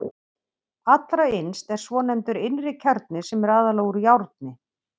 Allra innst er svonefndur innri kjarni sem er aðallega úr járni.